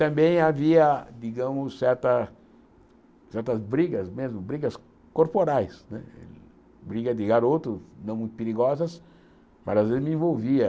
Também havia, digamos, certa certas brigas mesmo, brigas corporais né, briga de garoto, não muito perigosas, mas às vezes me envolvia.